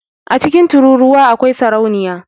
A cikin tururuwa akwai sarauniya